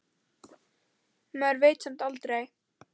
Maður veit samt aldrei.